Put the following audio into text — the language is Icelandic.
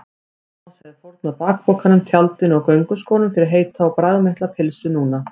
Thomas hefði fórnað bakpokanum, tjaldinu og gönguskónum fyrir heita og bragðmikla pylsu núna.